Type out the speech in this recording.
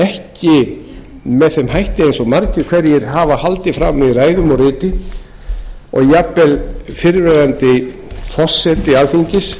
ekki með þeim hætti eins og margir hverjir hafa haldið fram í ræðum og riti og jafnvel fyrrverandi forseti alþingis